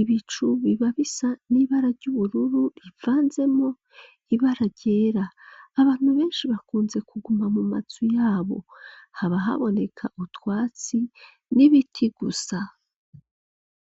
ibicu biba bisa n'ibara ry'ubururu rivanzemwo ibara ryera, abantu benshi bakunze kuguma mu mazu yabo, haba haboneka utwatsi n'ibiti gusa.